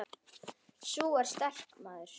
Sú er sterk, maður!